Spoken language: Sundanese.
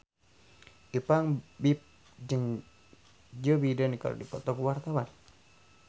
Ipank BIP jeung Joe Biden keur dipoto ku wartawan